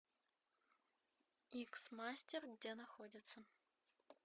икс мастер где находится